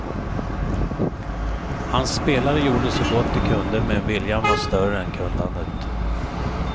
Han spelare gjorde så gott de kunde men viljan var större än kunnandet.